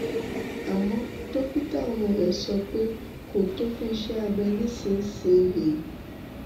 àmó dókítà ọmọ rẹ sọ pé kò tó fún iṣé abẹ nísinsìnyí